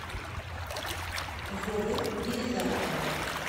вовы елизарова